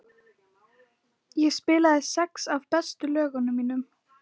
Ég spilaði sex af bestu lögunum mínum.